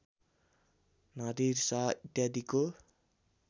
Nadir Shah इत्यादिको